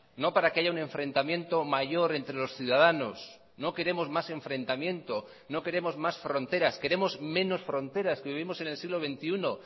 no para que haya un enfrentamiento mayor entre los ciudadanos no queremos más enfrentamiento no queremos más fronteras queremos menos fronteras que vivimos en el siglo veintiuno